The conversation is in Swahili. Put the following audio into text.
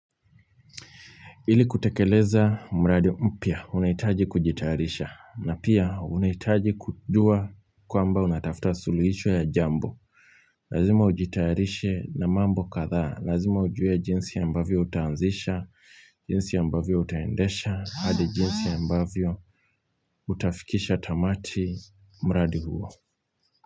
Ili kutekeleza, mradi mpya, unahitaji kujitayarisha. Na pia, unahitaji kujua kwamba unatafta suluhisho ya jambo. Lazima ujitayarishe na mambo kadhaa. Lazima ujue jinsi ambavyo utaanzisha, jinsi ambavyo utaendesha, hadi jinsi ambavyo utafikisha tamati mradi huo.